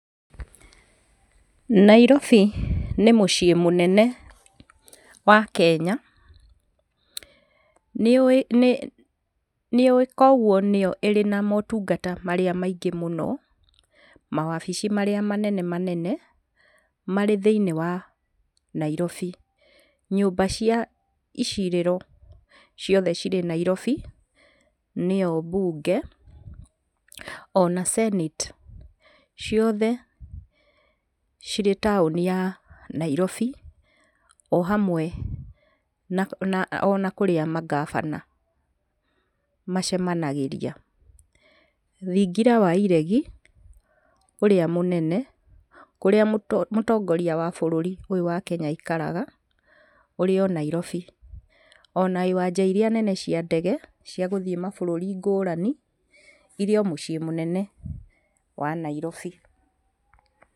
Nairobi nĩ mũciĩ mũnene wa Kenya, nĩ ũĩ kwoguo nĩyo ĩrĩ na motungata marĩa maingĩ mũno, mawabici marĩa manene manene marĩ thĩiniĩ wa Nairobi. Nyũmba cia icirĩro ciothe cirĩ Nairobi, nĩyo mbunge ona senate ciothe cirĩ taũni ya Nairobi o hamwe na ona kũrĩa mangabana macemanagĩria. Thingira wa iregi ũrĩa mũnene, kũrĩa mũtongoria wa bũrũri ũyũ wa Kenya aikaraga. ũrĩ o Nairobi. Ona iwanja iria nene cia ndege cia gũthiĩ mabũrũri ngũrani, irĩo mũciĩ mũnene wa Nairobi.